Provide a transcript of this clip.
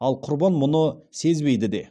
ал құрбан мұны сезбейді де